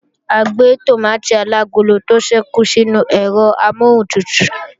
A gbé tòmátì alagolo tó kù sínú ẹ̀rọ amọ́huntutù